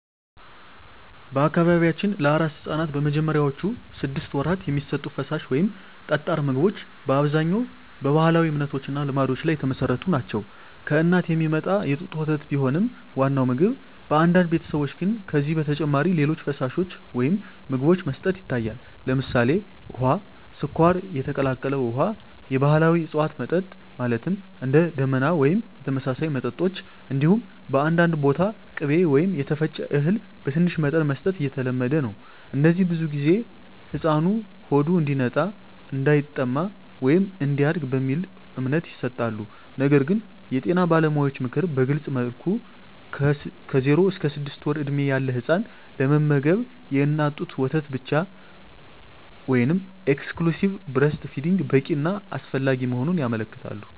በአካባቢያችን ለአራስ ሕፃናት በመጀመሪያዎቹ ስድስት ወራት የሚሰጡ ፈሳሽ ወይም ጠጣር ምግቦች በአብዛኛው በባህላዊ እምነቶች እና ልማዶች ላይ የተመሠረቱ ናቸው። ከእናት የሚመጣ የጡት ወተት ቢሆንም ዋናው ምግብ፣ በአንዳንድ ቤተሰቦች ግን ከዚህ በተጨማሪ ሌሎች ፈሳሾች ወይም ምግቦች መስጠት ይታያል። ለምሳሌ፣ ውሃ፣ ስኳር የቀላቀለ ውሃ፣ የባህላዊ እፅዋት መጠጥ (እንደ “ደመና” ወይም የተመሳሳይ መጠጦች)፣ እንዲሁም በአንዳንድ ቦታ ቅቤ ወይም የተፈጨ እህል በትንሽ መጠን መስጠት የተለመደ ነው። እነዚህ ብዙ ጊዜ “ሕፃኑ ሆዱ እንዲነጻ”፣ “እንዳይጠማ” ወይም “እንዲያድግ” በሚለው እምነት ይሰጣሉ። ነገር ግን የጤና ባለሙያዎች ምክር በግልፅ መልኩ ከ0–6 ወር ዕድሜ ያለ ሕፃን ለመመገብ የእናት ጡት ወተት ብቻ (exclusive breastfeeding) በቂ እና አስፈላጊ መሆኑን ያመለክታሉ።